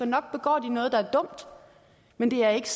nok begår de noget der er dumt men det er ikke